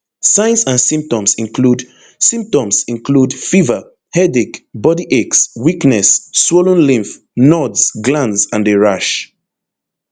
signs and symptoms include symptoms include fever headache body aches weakness swollen lymph nodes glands and a rash